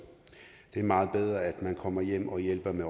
det er meget bedre at man kommer hjem og hjælper med